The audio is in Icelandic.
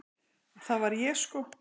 Það var ég sko!